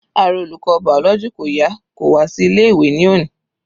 Ara olùkọ́ biology kò yá kò wá sí ilé ìwé ní òní.